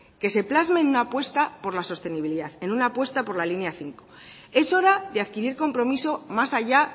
que se plasmen una puesta por la sostenibilidad en una puesta por la línea cinco es hora de adquirir compromiso más allá